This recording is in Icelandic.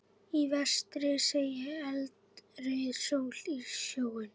Í vestri seig eldrauð sól í sjóinn.